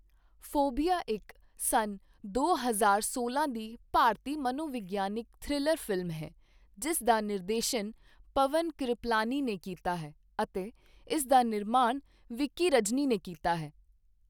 Phobia ਇੱਕ ਸੰਨ ਦੋ ਹਜ਼ਾਰ ਸੋਲਾਂ ਦੀ ਭਾਰਤੀ ਮਨੋਵਿਗਿਆਨਕ ਥ੍ਰਿਲਰ ਫ਼ਿਲਮ ਹੈ, ਜਿਸ ਦਾ ਨਿਰਦੇਸ਼ਨ ਪਵਨ ਕਿਰਪਲਾਨੀ ਨੇ ਕੀਤਾ ਹੈ ਅਤੇ ਇਸ ਦਾ ਨਿਰਮਾਣ ਵਿੱਕੀ ਰਜਨੀ ਨੇ ਕੀਤਾ ਹੈ।